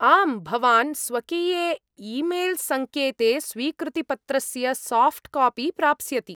आम्, भवान् स्वकीये ई मेल् संकेते स्वीकृतिपत्रस्य साफ़्ट् कापि प्राप्स्यति।